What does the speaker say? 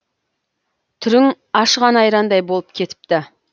түрің ашыған айрандай болып кетіпті